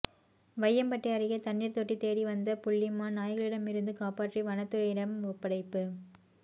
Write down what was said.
வையம்பட்டி அருகே தண்ணீர் தொட்டி தேடி வந்த புள்ளி மான் நாய்களிடமிருந்து காப்பாற்றி வனத்துறையிடம் ஒப்படைப்பு